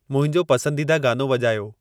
मुंहिंजो पसंदीदा गानो वॼायो